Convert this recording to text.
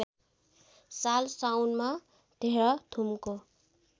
साल साउनमा तेह्रथुमको